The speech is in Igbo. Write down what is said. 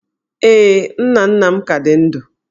Ee, nna nna m ka dị ndụ